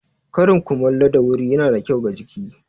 Karin kumallo da wuri ya na da kyau ga jiki.